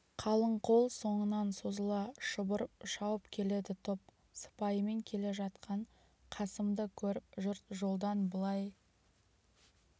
қалың қол соңынан созыла шұбырып шауып келеді топ сыпаймен келе жатқан қасымды көріп жұрт жолдан былай